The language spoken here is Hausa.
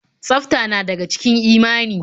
Tsafta na daga cikin imani.